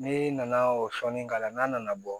Ne nana o sɔnni k'a la n'a nana bɔ